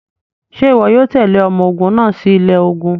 Ṣe iwọ yoo tẹle ọmọ ogun naa si ilẹ ogun?